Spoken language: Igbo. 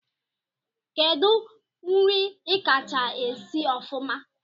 Kedu nri ikacha esi ofụma?